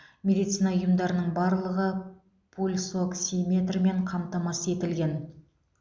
медицина ұйымдарының барлығы пульсоксиметрмен қамтамасыз етілген